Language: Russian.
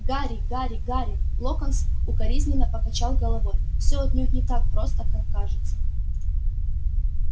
гарри гарри гарри локонс укоризненно покачал головой все отнюдь не так просто как кажется